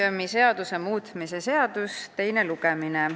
Muuseumiseaduse muutmise seaduse eelnõu teine lugemine.